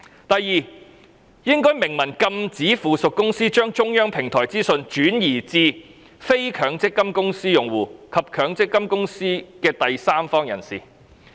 第二，應該明文禁止附屬公司將中央電子平台的資訊，轉移至非強積金公司用戶及強積金公司的第三方人士。